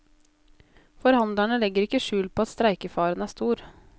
Forhandlerne legger ikke skjul på at streikefaren er stor.